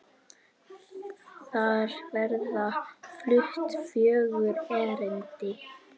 Þar verða flutt fjögur erindi.